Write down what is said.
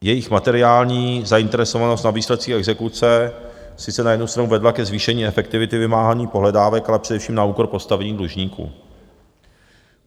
Jejich materiální zainteresovanost na výsledcích exekuce sice na jednu stranu vedla ke zvýšení efektivity vymáhání pohledávek, ale především na úkor postavení dlužníků.